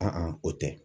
o tɛ